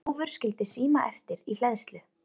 Þjófur skildi síma eftir í hleðslu